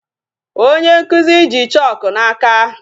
Onye nkụzi ji chalk n'aka.